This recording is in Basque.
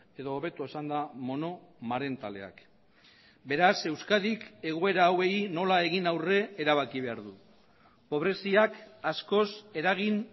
edo hobeto esanda monomarentaleak beraz euskadik egoera hauei nola egin aurre erabaki behar du pobreziak askoz eragin